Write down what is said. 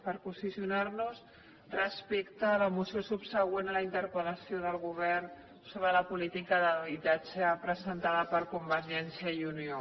per posicionar nos respecte a la moció subsegüent a la interpel·lació al govern sobre la política d’habitatge presentada per convergència i unió